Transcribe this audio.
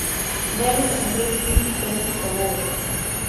дай мне посмотреть фильм френсиса лоуренса